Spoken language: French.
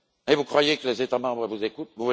Vous croyez que les États membres vous écoutent?